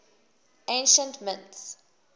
ancient mints